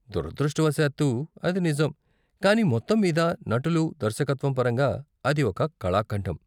దురదృష్టవశాత్తూ అది నిజం, కానీ మొత్తం మీద, నటులు, దర్శకత్వం పరంగా అది ఒక కళాఖండం.